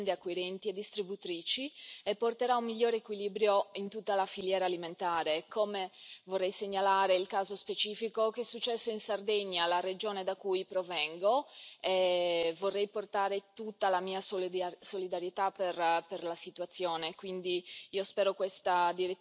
dalle pratiche sleali delle aziende acquirenti e distributrici e porterà un migliore equilibrio in tutta la filiera alimentare. Vorrei segnalare il caso specifico che è successo in Sardegna la regione da cui provengo e vorrei portare tutta la mia solidarietà per la situazione.